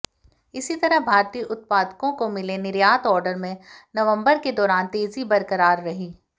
इसी तरह भारतीय उत्पादकों को मिले निर्यात ऑर्डर में नवंबर के दौरान तेजी बरकरार रही